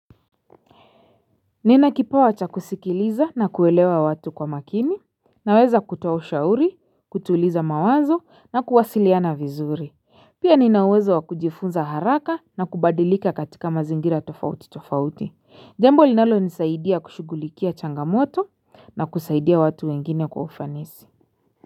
Nina kipawa cha kusikiliza na kuelewa watu kwa makini naweza kutoa ushauri kutuliza mawazo na kuwasiliana vizuri pia nina uwezo wa kujifunza haraka na kubadilika katika mazingira tofauti tofauti jambo linalonisaidia kushughulikia changamoto na kusaidia watu wengine kwa ufanisi.